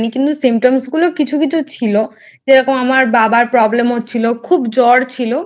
কিন্তু Symptoms গুলো কিছু কিছু ছিল যেরকম আমার বাবার Problem হচ্ছিলো খুব জ্বর ছিল।